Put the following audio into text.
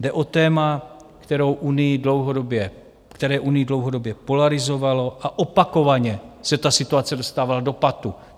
Jde o téma, které Unii dlouhodobě polarizovalo, a opakovaně se ta situace dostávala do patu.